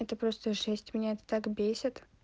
это просто жесть меня это так бесит